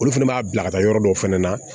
Olu fɛnɛ b'a bila ka taa yɔrɔ dɔw fɛnɛ na